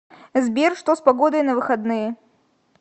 сбер что с погодой на выходные